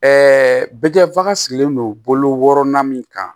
bɛ kɛ bagan sigilen don bolo na min kan